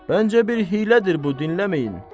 Məncə bir hiylədir bu, dinləməyin.